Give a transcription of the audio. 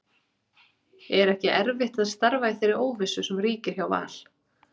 Er ekki erfitt að starfa í þeirri óvissu sem ríkir hjá Val?